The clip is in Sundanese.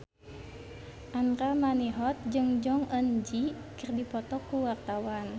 Andra Manihot jeung Jong Eun Ji keur dipoto ku wartawan